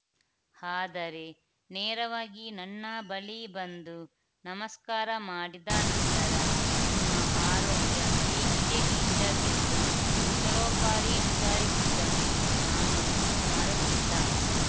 ಆದರೆ ನೇರವಾಗಿ ನನ್ನ ಬಳಿ ಬಂದು ನಮಸ್ಕಾರ ಮಾಡಿದ ನಂತರ ನಿಮ್ಮ ಆರೋಗ್ಯ ಹೇಗಿದೆ ಟೀಚರ್‌ ಎಂದು ಕುಶಲೋಪಾರಿ ವಿಚಾರಿಸಿದ್ದನ್ನು ನಾನು ಇನ್ನೂ ಮರೆತಿಲ್ಲ